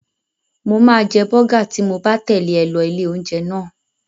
Mo máa jẹ bọ́gà tí mo bá tẹ̀lé ẹ lọ ilé-oúnjẹ náà.